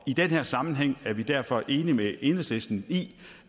i den her sammenhæng er vi derfor enige med enhedslisten i